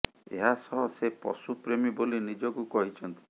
ଏହା ସହ ସେ ପଶୁ ପ୍ରେମୀ ବୋଲି ନିଜକୁ କହିଛନ୍ତି